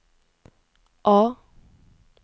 A